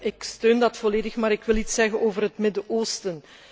Ik steun dat volledig, maar ik wil iets zeggen over het Midden Oosten.